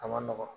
A ma nɔgɔn